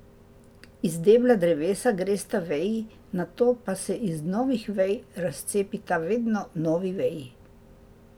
Iz debla drevesa gresta veji, nato pa se iz novih vej razcepita vedno novi veji.